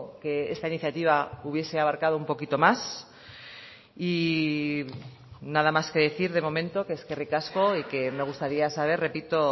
que esta iniciativa hubiese abarcado un poquito más y nada más que decir de momento que eskerrik asko y que me gustaría saber repito